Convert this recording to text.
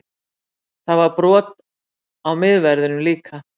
Það var brot á miðverðinum líka